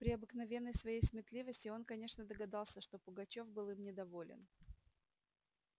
при обыкновенной своей сметливости он конечно догадался что пугачёв был им недоволен